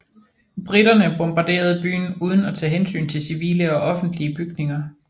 Briterne bombarderede byen uden at tage hensyn til civile og offentlige bygninger